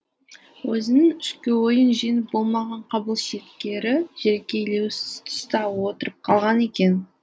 өзінің ішкі ойын жеңіп болмаған қабыл шеткері жерге елеусіз тұста отырып қалған екен